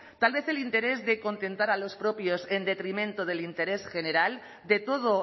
tal vez el interés de contentar a los propios en detrimento del interés general de todo